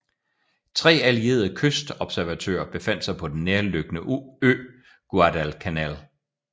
Tre allierede kystobservatører befandt sig på den nærliggende ø Guadalcanal